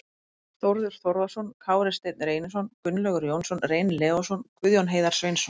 Þórður Þórðarson, Kári Steinn Reynisson, Gunnlaugur Jónsson, Reynir Leósson, Guðjón Heiðar Sveinsson